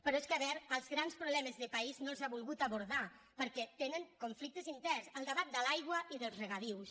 però és que a veure els grans problemes de país no els ha volgut abordar perquè tenen conflictes in·terns el debat de l’aigua i dels regadius